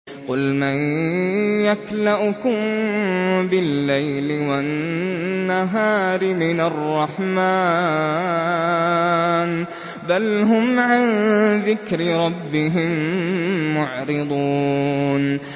قُلْ مَن يَكْلَؤُكُم بِاللَّيْلِ وَالنَّهَارِ مِنَ الرَّحْمَٰنِ ۗ بَلْ هُمْ عَن ذِكْرِ رَبِّهِم مُّعْرِضُونَ